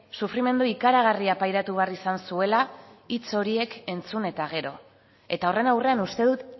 sufrimendu ikaragarria pairatu behar izan zuela hitz horiek entzun eta gero eta horren aurrean uste dut